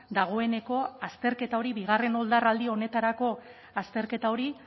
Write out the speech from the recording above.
dagoeneko azterketa hori bigarren oldarraldi honetarako azterketa hori